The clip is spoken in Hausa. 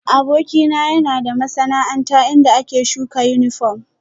Abokina yana da masana'anta inda ake shuka yunifom